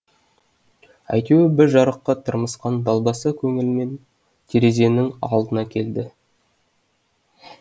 әйтеуір бір жарыққа тырмысқан далбаса көңілмен терезенің алдына келеді